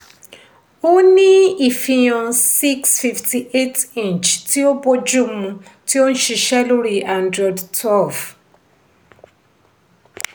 ó ní ifihàn six fifty eight inch tí ó bójúmu tí ó nṣiṣẹ́ lórí android twelve.